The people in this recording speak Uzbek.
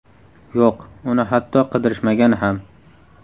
Yo‘q, uni hatto qidirishmagan ham.